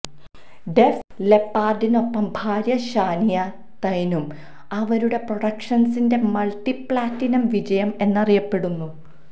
def ലെപ്പാർഡിനൊപ്പം ഭാര്യ Shania തൈനും അവരുടെ പ്രൊഡക്ഷൻസിന്റെ മൾട്ടി പ്ലാറ്റിനം വിജയം എന്നറിയപ്പെടുന്നു